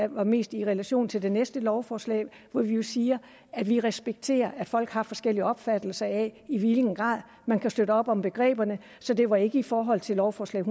var mest i relation til det næste lovforslag hvor vi jo siger at vi respekterer at folk har forskellige opfattelser af i hvilken grad man kan støtte op om begreberne så det var ikke i forhold til lovforslag